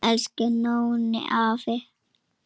Elsku Nóni afi.